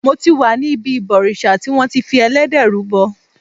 Mo ti wà ní ibi ìbòrìṣà tí wọn ti fi Ẹlẹ́dẹ̀ rúbọ.